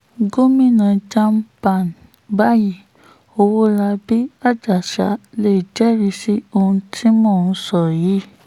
gomina jam pan báyìí ọwọ́labí àjàsà lè jẹ́rìí sí ohun tí mò ń sọ yìí